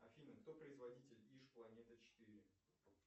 афина кто производитель иж планета четыре